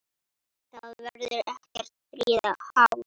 Það verður ekkert stríð háð.